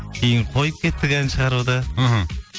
кейін қойып кеттік ән шығаруды іхі